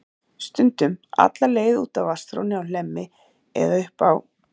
Stundum alla leið út að vatnsþrónni á Hlemmi eða upp á